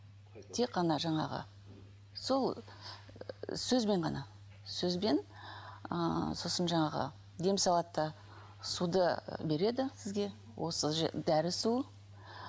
тек қана жаңағы сол сөзбен ғана сөзбен ыыы сосын жаңағы дем салады да суды береді сізге осы дәрі су